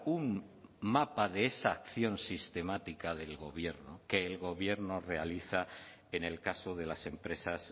un mapa de esa acción sistemática del gobierno que el gobierno realiza en el caso de las empresas